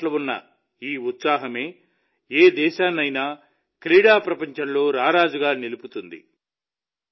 క్రీడల పట్ల ఉన్న ఈ ఉత్సాహమే ఏ దేశాన్నైనా క్రీడా ప్రపంచంలో రారాజుగా నిలుపుతుంది